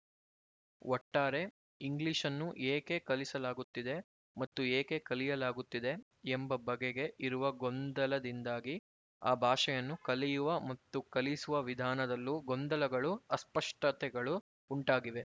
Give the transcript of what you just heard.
ಒಟ್ಟಾರೆ ಇಂಗ್ಲಿಶನ್ನೂ ಏಕೆ ಕಲಿಸಲಾಗುತ್ತಿದೆ ಮತ್ತು ಏಕೆ ಕಲಿಯಲಾಗುತ್ತಿದೆ ಎಂಬ ಬಗೆಗೆ ಇರುವ ಗೊಂದಲದಿಂದಾಗಿ ಆ ಭಾಷೆಯನ್ನು ಕಲಿಯುವ ಮತ್ತು ಕಲಿಸುವ ವಿಧಾನದಲ್ಲೂ ಗೊಂದಲಗಳು ಅಸ್ಪಷ್ಟತೆಗಳು ಉಂಟಾಗಿವೆ